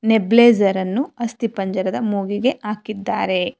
Nebuliser ಅನ್ನು ಅಸ್ತಿಪಂಜರದ ಮೂಗಿಗೆ ಹಾಕಿದ್ದಾರೆ.